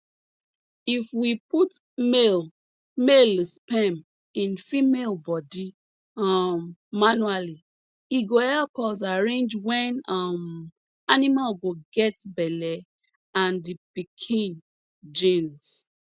if we put male male sperm in female body um manually e go help us arrange wen um animal go get belle and the piken genes